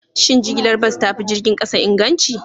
Shin jigilar bas ta fi jirgin kasa inganci?